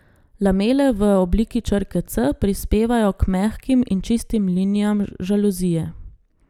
Lamele v obliki črke C prispevajo k mehkim in čistim linijam žaluzije.